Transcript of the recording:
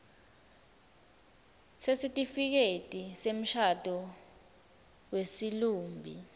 sesitifiketi semshado wesilumbi